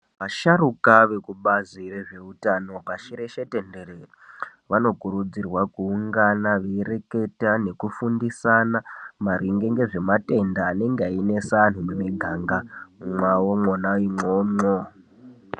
Vashapruka rekubazi rezveutano pashi reshe tenderere vanokurudzirwa kuungana veireketa nekufundisana maringe ngezvematenda anenge einesa antu mumuganga mwavo mwona imwomwo.